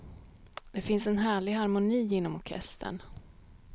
Det finns en härlig harmoni inom orkestern.